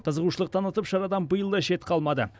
қызығушылық танытып шарадан биыл да шет қалмады